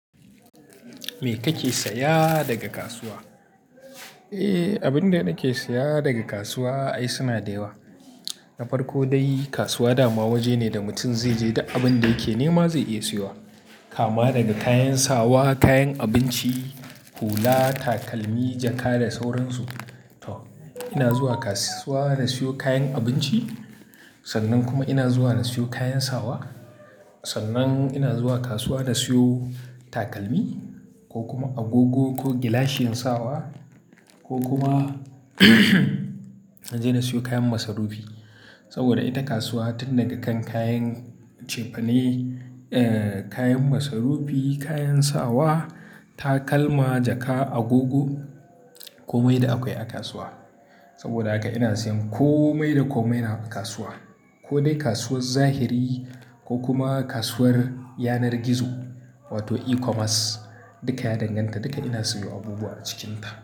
Me kake saya daga kasuwa? Eh, abin da nake saya daga kasuwa ai suna da yawa. Na farko dai kasuwa dama waje ne da mutum zai je da abin da yake nema zai iya siyowa. Kama daga kayan sawa, kayan abinci, hula, takalmi, jaka da sauransu. To ina zuwa kasuwa na siyo kayan abinci sannan kuma ina zuwa na siyo kayan sawa. Sannan ina zuwa kasuwa na siyo takalmi ko kuma agogo ko gilashin sawa ko kuma na je na siyo kayan masarufi. Saboda ita kasuwa tun daga kan kayan cefane, kayan masarufi, kayan sawa, takalma, jaka, agogo komai da akwai a kasuwa. Saboda haka ina siyan komai da komai na kasuwa. Ko dai kasuwar zahiri ko kuma kasuwar yanar gizo wato eCommerce duka ya danganta. Duka ina siyo abubuwa a cikinta.